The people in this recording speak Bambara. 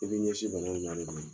I bɛ ɲɛsin bana in ma de koyi.